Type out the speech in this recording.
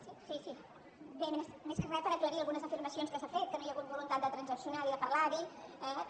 sí bé més que re per aclarir algunes afirmacions que s’han fet que no hi ha hagut voluntat de transaccionar ni de parlar ha dit